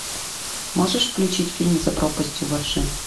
можешь включить фильм за пропастью во ржи